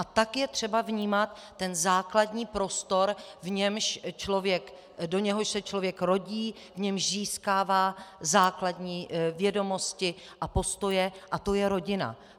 A tak je třeba vnímat ten základní prostor, do něhož se člověk rodí, v němž získává základní vědomosti a postoje, a to je rodina.